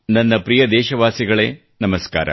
ನನ್ನ ಪ್ರಿಯ ದೇಶವಾಸಿಗಳೇ ನಮಸ್ಕಾರ